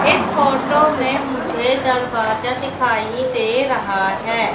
इस फोटो में मुझे दरवाजा दिखाइ दे रहा है।